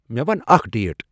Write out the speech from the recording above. مے ون اکھ ڈیٹ ۔